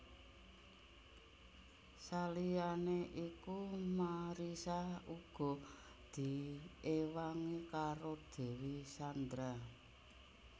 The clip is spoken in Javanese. Saliyané iku Marissa uga diiwangi karo Dewi Sandra